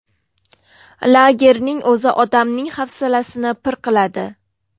Lagerning o‘zi odamning hafsalasini pir qiladi.